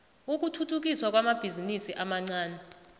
ukuthuthukiswa kwamabhizinisi amancani